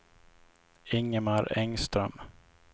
Ingemar Engström